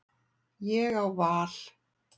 Ég á val.